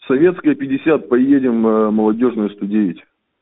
советская пятьдесят поедем молодёжная сто девять